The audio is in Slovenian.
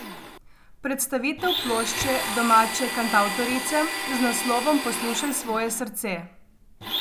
Predstavitev plošče domače kantavtorice z naslovom Poslušaj svoje srce.